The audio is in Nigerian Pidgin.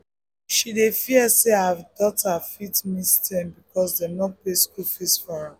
she dey fear say her daughter fit miss term because dem no pay school fees for am.